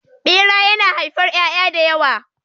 Ɓera yana haifar ƴaƴa da yawa.